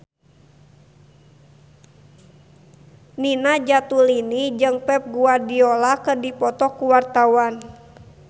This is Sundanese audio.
Nina Zatulini jeung Pep Guardiola keur dipoto ku wartawan